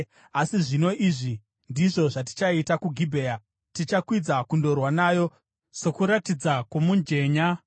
Asi zvino izvi ndizvo zvatichaita kuGibhea: Tichakwidza kundorwa nayo sokuratidza kwomujenya.